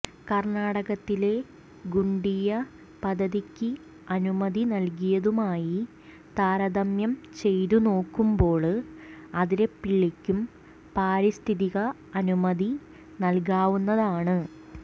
കര്ണാടകത്തിലെ ഗുണ്ടിയ പദ്ധതിക്ക് അനുമതി നല്കിയതുമായി താരതമ്യം ചെയ്തുനോക്കുമ്പോള് അതിരപ്പിള്ളിക്കും പാരിസ്ഥിതിക അനുമതി നല്കാവുന്നതാണ്